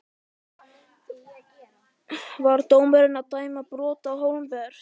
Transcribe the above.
Var dómarinn að dæma brot Á Hólmbert?